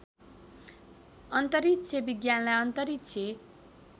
अन्तरिक्ष विज्ञानलाई अन्तरिक्ष